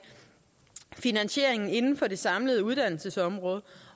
finansieringen inden for det samlede uddannelsesområde